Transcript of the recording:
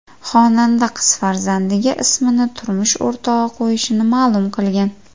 Xonanda qiz farzandiga ismni turmush o‘rtog‘i qo‘yishini ma’lum qilgan.